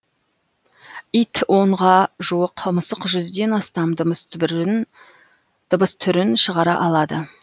ит онға жуық мысық жүзден астам дыбыс түрін шығара алады